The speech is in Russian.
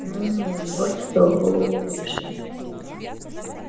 ну ну дочка голову выше